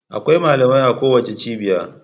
Akwai malamai a kowace cibiya.